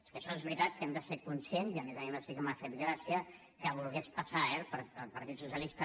que això és veritat que hem de ser ne conscients i a més a més sí que m’ha fet gràcia que volgués passar eh el partit socialista